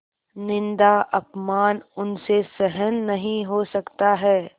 निन्दाअपमान उनसे सहन नहीं हो सकता है